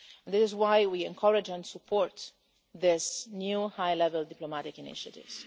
That is why we encourage and support this new high level diplomatic initiative.